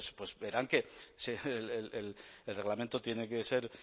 pues verán que el reglamento tiene que ser